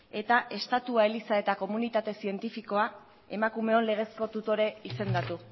eta estatua eliza eta komunitate zientifikoa emakumeon legezko tutore izendatu